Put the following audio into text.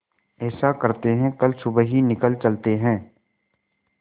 ऐसा करते है कल सुबह ही निकल चलते है